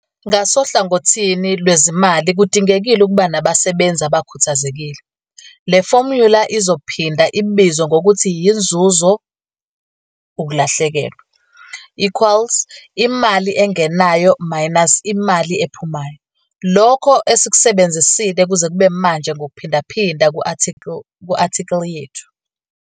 Ngasohlangothini lwezimali kudingekile ukuba nabasebenzi abakhuthazekile. Le fomula izophinda ibizwe ngokuthi yiNzuzo - uKulahlekelwa equals Imali engenayo minus Imali ephumayo, lokho esikusebenzisile kuze kube manje ngokuphindaphinda ku-athikhili yethu.